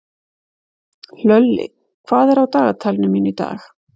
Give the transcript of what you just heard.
Hlölli, hvað er á dagatalinu mínu í dag?